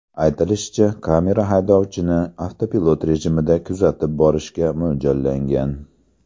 Aytilishicha, kamera haydovchini avtopilot rejimida kuzatib borishga mo‘ljallangan.